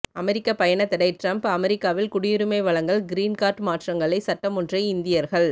அமெரிக்க பயணத்தடை டிரம்ப் அமெரிக்காவில் குடியுரிமை வழங்கல் கிரீன் கார்ட் மாற்றங்களை சட்டமொன்றை இந்தியர்கள்